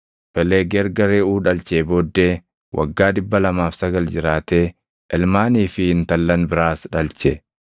Felegi erga Reʼuu dhalchee booddee waggaa 209 jiraatee ilmaanii fi intallan biraas dhalche.